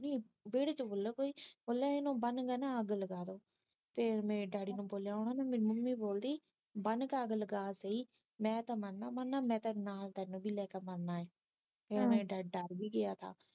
ਵੇਹੜੇ ਚ ਵੇਖਲਾ ਕੋਈ ਬੋਲਿਆ ਇਹਨੂੰ ਬਨ ਕੇ ਨਾ ਅੱਗ ਲਗਾਦੇ ਤੇ ਮੇਰੇ ਡੈਡੀ ਨੂੰ ਬੋਲਿਆ ਹੇਨਾ ਮੈਨੂੰ ਨਹੀਂ ਬੋਲਦੀ ਬੰਨ ਕੇ ਅੱਗ ਲਗਾਤੀ ਮੈ ਤਾ ਮਰਨਾ ਮਰਨਾ ਮੈ ਤੈਨੂੰ ਨਾਲ ਵੀ ਲੈ ਕੇ ਮਰਨਾ ਏ ਫਿਰ ਮੇਰਾ ਡੈਡੀ ਡਰ ਵੀ ਗਿਆ ਥਾ